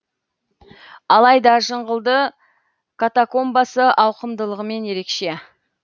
алайда жыңғылды катакомбасы ауқымдылығымен ерекше